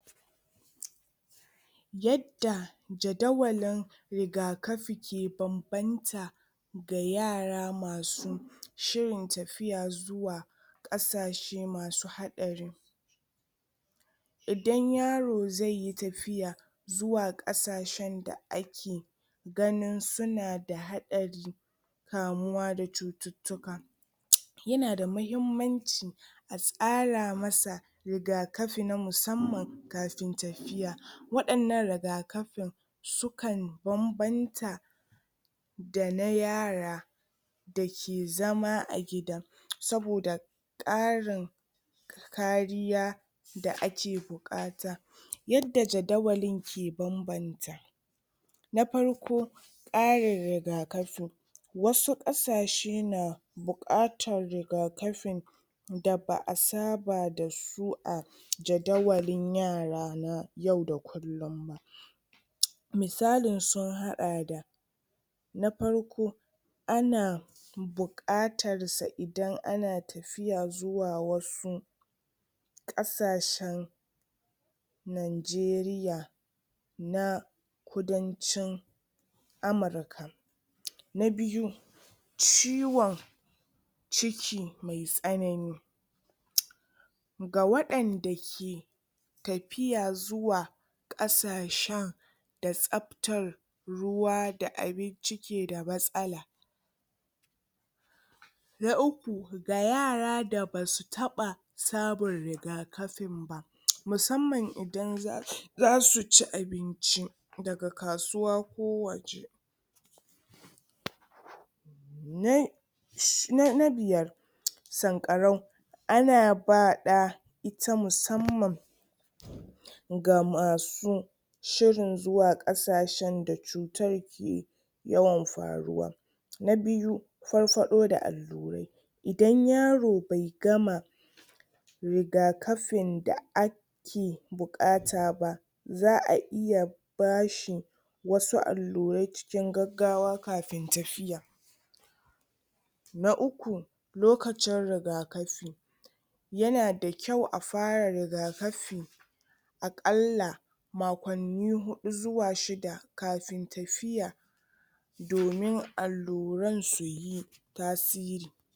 yadda jadawalin rigakafi ke bambanta ga yara masu shirin tafiya zuwa ƙasashe masu haɗari idan yaro zaiyi tafiya zuwa ƙasashen da ake ganin sunada haɗari kamuwa da cuttuka yanada mahimmanci a tsara masa rigakafi na musamman kafin tafiya waɗannan rigakafin suka banbanta da na yara dake zama a gidan saboda karin kariya da ake buƙata yadda jadawalin ke banbanta na farko karin rigakafin wasu ƙasashen na buƙatar rigaƙafin da ba a saba da su a jadawalin yara na yau da kullum misalin sun hada da na farko ana bukatarsa idan ana tafiya zuwa wasu ƙasashen najeriya na ƙudancin? na biyu ciwon ciki me tsanani ga waɗanda ke tafiya zuwa kasashen da tsaftar ruwa da abinci keda matsala na uku ga yara da basu taba samun rigakafin ba musamman idan zasu ci abinci daga kasuwa ko waje? na biyar sankarau, ana ba ɗa ita musamman ga masu shirin zuwa kasashen da cutar take yawan faruwa na biyu, farfaɗo da allurai idan yaro bai gama rigakafin da ake bukata ba za a iya bashi wasu allurai cikin gaggawa kafin tafiya na uku lokacin rigakafi yana da kyau a fara rigakafi akalla makonni huɗu zuwa shida kafin tafiya domin alluran su yi tasiri